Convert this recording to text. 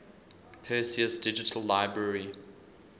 perseus digital library